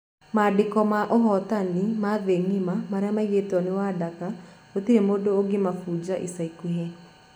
Mandĩko ma ũhotani ma thĩ ngima marĩa maigĩrwo nĩ Wadaka gũtĩre mũndũ ũngĩbunja ica ĩkuhĩ.